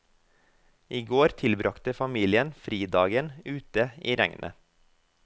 I går tilbragte familien fridagen ute i regnet.